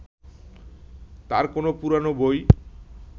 তাঁর কোনো পুরোনো বই